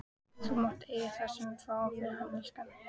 Þú mátt eiga það sem við fáum fyrir hann, elskan.